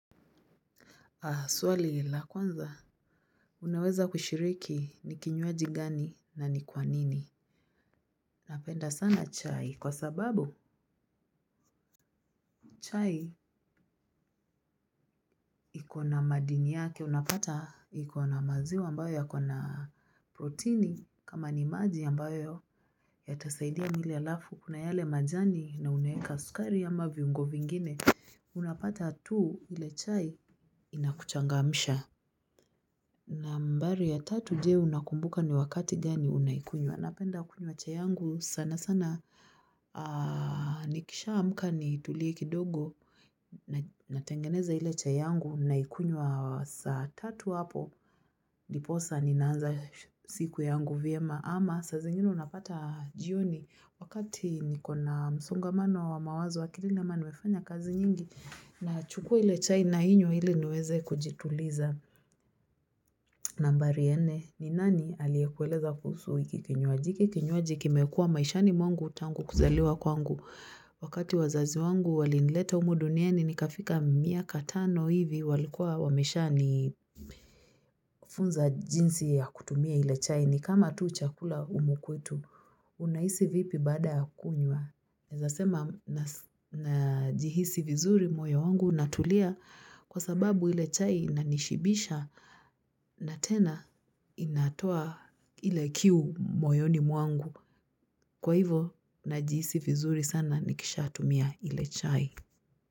Swali la kwanza unaweza kushiriki ni kinywaji gani? Na ni kwa nini? Napenda sana chai kwa sababu chai iko na madini yake unapata iko na maziwa ambayo yako na protini kama ni maji ambayo yatasaidia mle alafu kuna yale majani na unaweka sukari ama viungo vingine unapata tu ile chai inakuchangamsha. Nambari ya tatu je unakumbuka ni wakati gani unaikunywa. Napenda kunywa chai yangu sana sana. Nikisha amka nitulie kidogo. Natengeneza ile chai yangu naikunywa saa tatu hapo. Ndiposa ninaanza siku yangu vyema. Ama saa zingine unapata jioni wakati niko na msongamano wa mawazo akilini ama nimefanya kazi nyingi. Nachukua ile chai nainywa ili niweze kujituliza. Nambari ya nne ni nani aliyekueleza kuhusu hiki kinywaji hiki kinywaji kimekua maishani mwangu tangu kuzaliwa kwangu wakati wazazi wangu walinileta humu duniani nikafika miaka tano hivi walikuwa wameshanifunza jinsi ya kutumia ile chai, ni kama tu chakula humu kwetu unahisi vipi baada ya kunywa? Naeza sema najihisi vizuri moyo wangu unatulia kwa sababu ile chai inanishibisha na tena inatoa ile kiu moyoni mwangu. Kwa hivo najihisi vizuri sana nikishatumia ile chai.